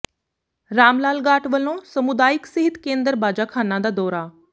ਰਾਮ ਲਾਲ ਗਾਟ ਵੱਲੋਂ ਸਮੁਦਾਇਕ ਸਿਹਤ ਕੇਂਦਰ ਬਾਜਾਖਾਨਾ ਦਾ ਦੌਰਾ